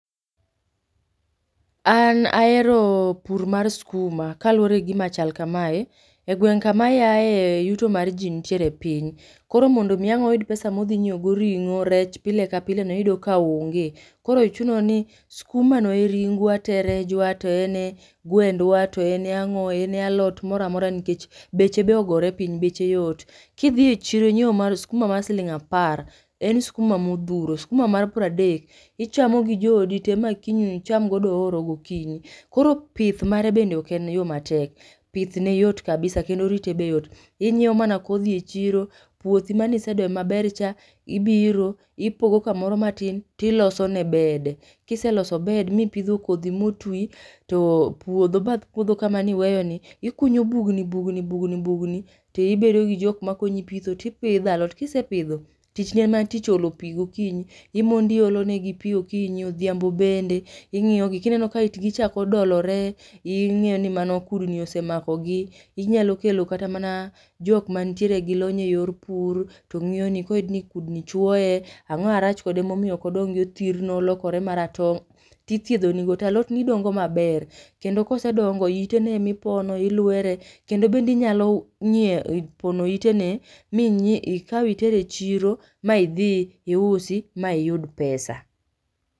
An ahero pur mar skuma ka luwore gi gima chal kamae, e gweng' kama ayae yuto mar ji nitiere piny, koro mondo mi ang' oyud pesa ma odhi nyieo go ring'o, rech pile ka pile no iyudo ka onge. Koro chuno ni skuma no e ringwa to e rejwa to en e gwendwa, to en e ang'o, to en e alot mora mora nikech beche be ogore piny beche yot. Kidhi e chiro inyieo mar skuma mar siling' apar, en skuma ma odhuro, skuma mar pradek, ichamo gi joodi te ma kiny icham godo ooro gokinyi. Koro pith mare bende ok en yo matek, pith ne yot kabisa kendo rite be yot. Inyieo mana kodhi e chiro, puothi maane isedoyo maler cha, ibiro ipogo kumoro matin to ilose ne bed. Kiseloso bed ma ipidho kodhi ma otwi, to puodho bath puodho kama ne iweyo ni, ikunyo bugni bugni bugni tibedo gi jok makonyi pitho, tipidho alot. Kisepidho, tichni en mana tich olo pi gokinyi, imondo iolo negi pi okinyi, odhiambo bende, ing'iyo gi kineno ka itgi chako dolore, ing'iyo ni mano kudni osechako mako gi, inyalo kelo kata mana jok mantie gi lony e yor pur to ng'iyoni. Koyudni kudni chwoe, ang'o marach kode momiyook odongi othirno olokore maratong' tithiedhoni ni go to alot ni dongo maber. Kendo ka isedongo iteno emipono, ilwere, kende bende inyalo nyieo pono ite no ming'ie ikau iter e chiro ma idhi iusi ma iyud pesa.